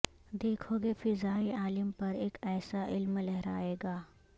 دیکھو گے فضائے عالم پر اک ایسا علم لہرائے گا